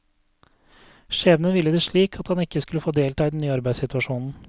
Skjebnen ville det slik at han ikke skulle få delta i den nye arbeidssituasjonen.